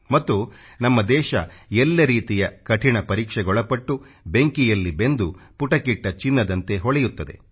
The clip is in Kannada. ಮತ್ತು ನಮ್ಮ ದೇಶ ಎಲ್ಲ ರೀತಿಯ ಕಠಿಣ ಪರೀಕ್ಷೆಗೊಳಪಟ್ಟು ಬೆಂಕಿಯಲ್ಲಿ ಬೆಂದು ಪುಟಕ್ಕಿಟ್ಟ ಚಿನ್ನದಂತೆ ಹೊಳೆಯುತ್ತದೆ